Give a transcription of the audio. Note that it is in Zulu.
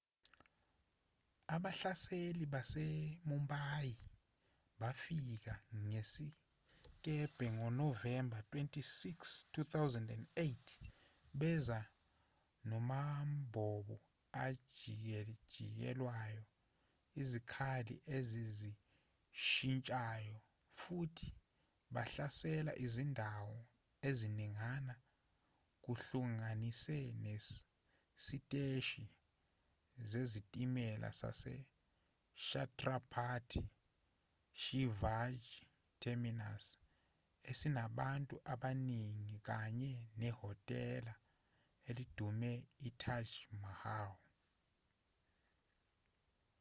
abahlaseli basemumbai bafika ngesikebhe ngonovemba 26 2008 beza namabhomu ajikijelwayo izikhali ezizishintshayo futhi bahlasela izindawo eziningana kuhlanganise nesiteshi sezitimela sase chhatrapati shivaji terminus esinabantu abaningi kanye nehotela elidumile itaj mahal